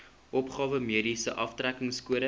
opgawe mediese aftrekkingskode